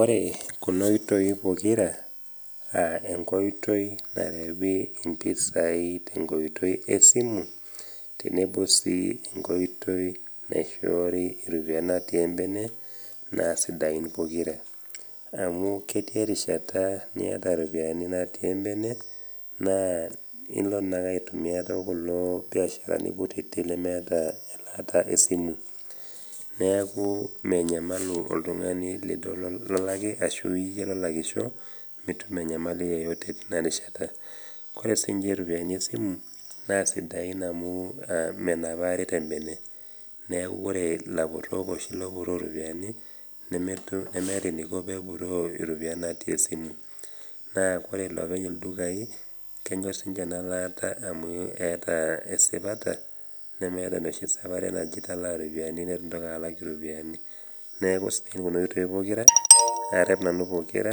Ore kuna oitoi pokira a enkoitoi narewei tenkoitoi e simu tenebo sii enkoitoi naishoori iropiani natii embene, naa sidain pokira, amu ketii erishata niata iropiani natii embene naa ilo naa ilo naake aitumia tokulo biasharani kutiti lemeeta elaata esimu. Neaku menyamalu oltung'ani lolaki ashu iyie lolakisho, mitum enyamali yeyote teina rishata. Ore siininche iropiani esimu naa sidain amu menapari tembene neaku ore ilapurok oshi lopuroo iropiani nemetum, nemeeta eneiko pee epuroo iropiani natii esimu. Naa ore ilopeny ildukai naa kenyor sininche ena laata amu keata esipata nemeata enoshi sapare naji italaa iropiani neitu indoiki alak iropiani. Neaku sidain kuna oitoi pokira, arep nanu pokira